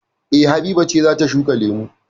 E. Habiba ce za ta shuka lemu.